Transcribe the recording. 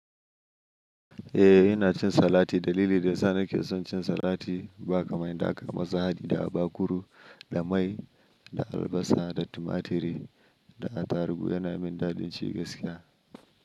Eh ina cin salati. Dalili da ya sa nake son cin salati ba kamar daka masa hadida da bakuru da mai da albasa da tumaturi da atarugu yana min daɗin ci gaskiya.